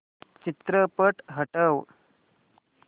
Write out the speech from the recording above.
चित्रपट हटव